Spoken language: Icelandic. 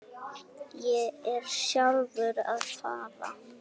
Ég er sjálfur að fara.